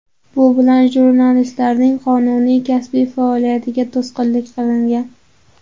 Bu bilan jurnalistlarning qonuniy kasbiy faoliyatiga to‘sqinlik qilingan”.